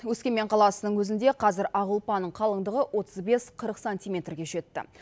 өскемен қаласының өзінде қазір ақ ұлпаның қалыңдығы отыз бес қырық сантиметрге жетті